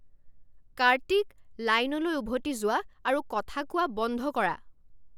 কাৰ্তিক! লাইনলৈ উভতি যোৱা আৰু কথা কোৱা বন্ধ কৰা।